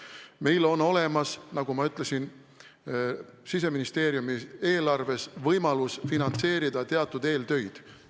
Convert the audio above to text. Meil on olemas, nagu ma ütlesin, Siseministeeriumi eelarves võimalus finantseerida teatud eeltöid.